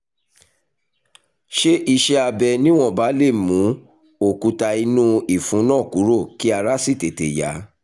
ṣé iṣẹ́ abẹ níwọ̀nba lè mú òkúta inú ìfun náà kúrò kí ara sì tètè yá?